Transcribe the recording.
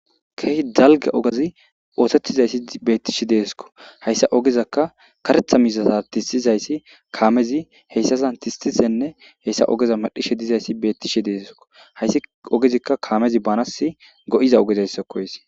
Keehi dalga ogazi oosettizayssi beettishi deesko hayssa ogezakka karetha mizasa tisizayssi kaamezi heyssasan tistisenne heyssa ogeza madhishe dizayssi beettishe deesko hayssi ogezikka kaamezi banas go'iza ogezayssa koys